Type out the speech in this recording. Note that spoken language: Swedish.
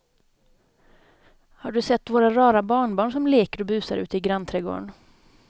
Har du sett våra rara barnbarn som leker och busar ute i grannträdgården!